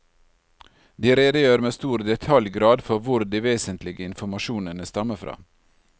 De redegjør med stor detaljgrad for hvor de vesentlige informasjonene stammer fra.